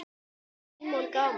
Símon: Gaman?